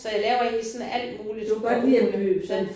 Så jeg laver egentlig sådan alt muligt ja